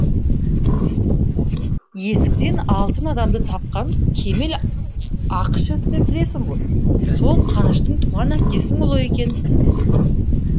есіктен алтын адамды тапқан кемел ақышевты білесің ғой сол қаныштың туған әпкесінің ұлы екен